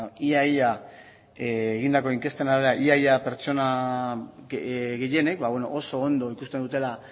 ia ia egindako inkesten arabera ia ia pertsona gehienek oso ondo ikusten dutela